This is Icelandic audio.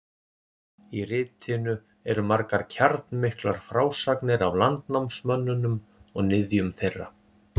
Í ritinu eru margar kjarnmiklar frásagnir af landnámsmönnunum og niðjum þeirra.